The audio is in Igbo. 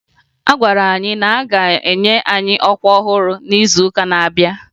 A gwara anyị na-aga enye anyị ọkwa ọhụrụ n'izuụka na-abịa